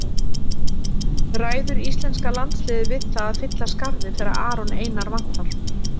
Ræður íslenska landsliðið við það að fylla skarðið þegar Aron Einar vantar?